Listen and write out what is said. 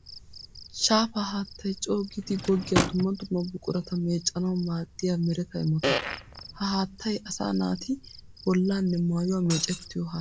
Shaafa haattay coo giiddi goggiya dumma dumma buqurata meecanawu maadiya meretta imotta. Ha haattay asaa naati bollanne maayuwa meeciyo haatta.